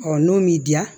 n'o m'i diya